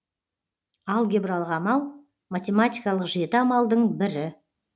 алгебралық амал математикалық жеті амалдың бірі